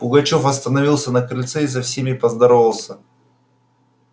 пугачёв остановился на крыльце и со всеми поздоровался